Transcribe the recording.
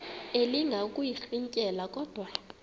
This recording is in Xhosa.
elinga ukuyirintyela kodwa